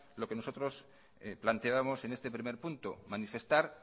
lo que nosotros planteábamos en este primer punto manifestar